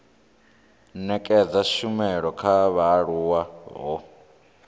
nekedza tshumelo kha vhaaluwa ho